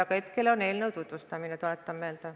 Aga hetkel käib eelnõu tutvustamine, tuletan meelde.